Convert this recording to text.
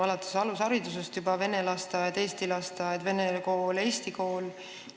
Meil on see juba alates alusharidusest, vene lasteaed – eesti lasteaed, siis vene kool – eesti kool.